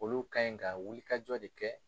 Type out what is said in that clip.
Olu ka ɲi ka wulikajɔ de kɛ